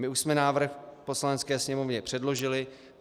My už jsme návrh Poslanecké sněmovně předložili.